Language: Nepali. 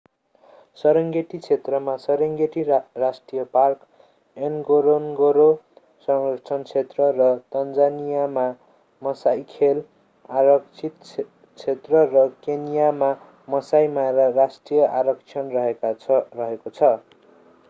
सेरेन्गेटी क्षेत्रमा सेरेन्गेटी राष्ट्रिय पार्क एनगोरन्गोरो संरक्षण क्षेत्र र तन्जानियामा मासाइ खेल आरक्षित क्षेत्र र केन्यामा मासाइ मारा राष्ट्रिय आरक्षण रहेको छ